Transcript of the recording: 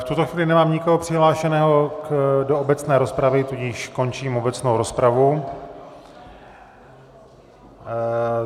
V tuto chvíli nemám nikoho přihlášeného do obecné rozpravy, tudíž končím obecnou rozpravu.